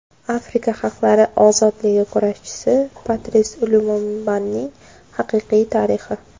Afrika xalqlari ozodligi kurashchisi Patris Lumumbaning haqiqiy tarixi.